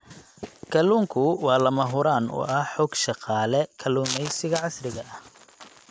Kalluunku waa lama huraan u ah xoog-shaqaale kalluumaysiga casriga ah.